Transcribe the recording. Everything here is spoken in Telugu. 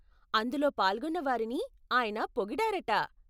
అందులో పాల్గొన్నవారిని ఆయన పోగిడారట.